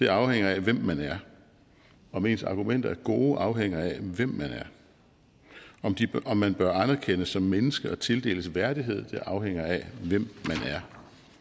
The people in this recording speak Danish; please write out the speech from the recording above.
afhænger af hvem man er om ens argumenter er gode afhænger af hvem man er om man bør anerkendes som mennesker og tildeles værdighed afhænger af hvem man er